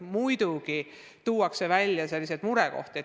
Muidugi tuuakse välja ka murekohti.